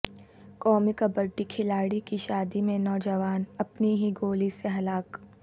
قومی کبڈی کھلاڑی کی شادی میں نوجوان اپنی ہی گولی سے ہلاک